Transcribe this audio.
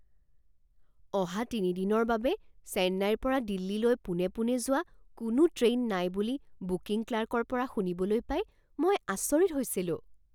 অহা তিনি দিনৰ বাবে চেন্নাইৰ পৰা দিল্লীলৈ পোনে পোনে যোৱা কোনো ট্ৰেইন নাই বুলি বুকিং ক্লাৰ্কৰ পৰা শুনিবলৈ পাই মই আচৰিত হৈছিলো।